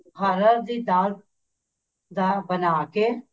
ਹਰ ਹਰ ਦੀ ਦਾਲ ਦਾ ਬਣਾ ਕੇ